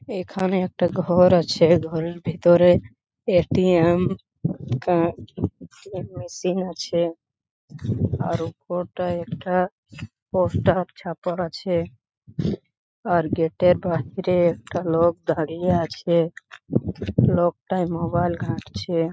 এখানে একটা ঘর আছে ঘরের ভেতরে এ.টি.এম কার্ড এর মেশিন আছে আর ওপরটায় একটা পোস্টার ছাপা আছে আর গেট এর বাহিরে একটা লোক দাঁড়িয়ে আছে লোকটা মোবাইল ঘাটচে। ।